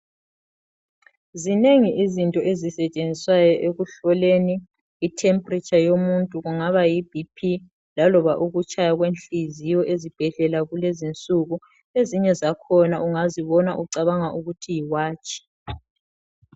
Zinengi izinto ezisetshenziswayo ekuhloleni itemperature yomuntu kungaba yibp laloba ukutshaya kwenhliziyo ezibhedlela kulezinsuku. Ezinye zakhona ungazibona ucabanga ukuthi yiwatshi.